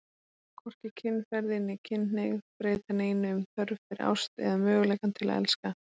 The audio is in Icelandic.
Hvorki kynferði né kynhneigð breyta neinu um þörf fyrir ást eða möguleikann til að elska.